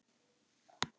bunar hún út úr sér.